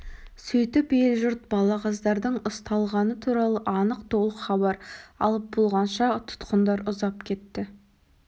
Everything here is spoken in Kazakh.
сөйтіп ел-жұрт балағаздардың ұсталғаны туралы анық толық хабар алып болғанша тұтқындар ұзап кетті